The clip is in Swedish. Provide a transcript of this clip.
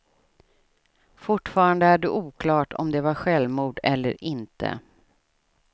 Fortfarande är det oklart om det var självmord eller inte.